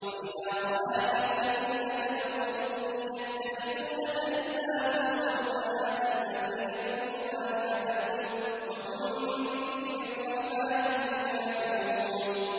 وَإِذَا رَآكَ الَّذِينَ كَفَرُوا إِن يَتَّخِذُونَكَ إِلَّا هُزُوًا أَهَٰذَا الَّذِي يَذْكُرُ آلِهَتَكُمْ وَهُم بِذِكْرِ الرَّحْمَٰنِ هُمْ كَافِرُونَ